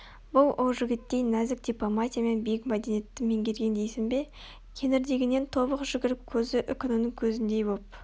бұл ол жігіттей нәзік дипломатия мен биік мәдениетті меңгерген дейсің бе кеңірдегінен тобық жүгіріп көзі үкінің көзіндей боп